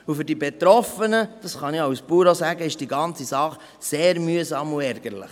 Für die Betroffenen ist die ganze Sache sehr mühsam und ärgerlich;